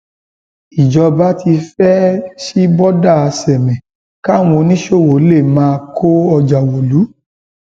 ìjọba ti fẹẹ sí bọdà sámé káwọn oníṣòwò lè máa kó ọjà wọlú